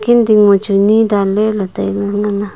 ding ma chu ni danley ley tailey nganley.